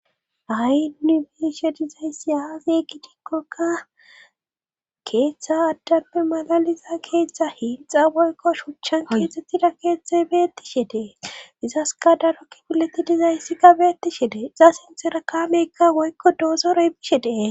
hay nu be7ishe dizayssi aaze giikokka keeththa addambe malaliza keeththa hinxa boykko shuchchan kidxxettida keeththe beetti she dee izaska darokki bileti dizayssi ka beetti she de iza sintera kaameykka woykko doosoroy bishe dee.